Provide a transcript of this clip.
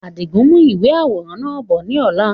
Àdigun n mú ìwé àwòrán náà bọ̀ ni ọ̀la